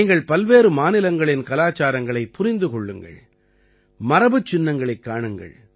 நீங்கள் பல்வேறு மாநிலங்களின் கலாச்சாரங்களைப் புரிந்து கொள்ளுங்கள் மரபுச் சின்னங்களைக் காணுங்கள்